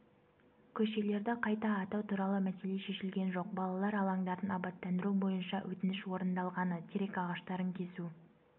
көшелерді қайта атау туралы мәселе шешілген жоқ балалар алаңдарын абаттандыру бойынша өтініш орындалғаны терек ағаштарын кесу